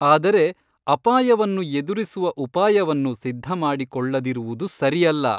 ಆದರೆ ಅಪಾಯವನ್ನು ಎದುರಿಸುವ ಉಪಾಯವನ್ನು ಸಿದ್ಧಮಾಡಿಕೊಳ್ಳದಿರುವುದು ಸರಿಯಲ್ಲ.